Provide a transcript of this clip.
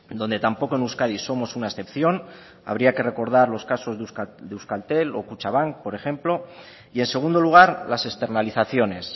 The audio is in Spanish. donde tampoco en euskadi somos una excepción habría que recordar los casos de euskaltel o kutxabank por ejemplo y en segundo lugar las externalizaciones